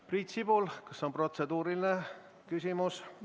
Priit Sibul, kas on protseduuriline küsimus?